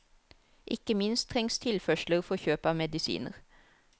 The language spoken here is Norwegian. Ikke minst trengs tilførsler for kjøp av medisiner.